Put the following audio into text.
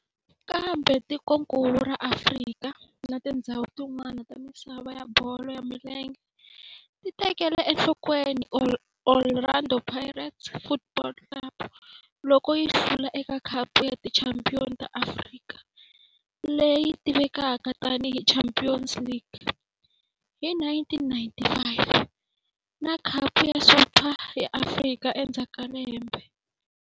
Kambe tikonkulu ra Afrika na tindzhawu tin'wana ta misava ya bolo ya milenge ti tekele enhlokweni Orlando Pirates Football Club loko yi hlula eka Khapu ya Tichampion ta Afrika, leyi tivekaka tani hi Champions League hi 1995 na Khapu ya Super ya Afrika endzhaku ka lembe.